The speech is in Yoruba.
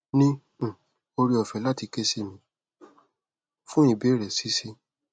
ni um ore ofe lati ke si mi fun ibeere si si